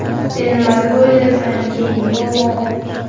Sen nima deb o‘ylaysan, keyin nima bo‘ladi?”.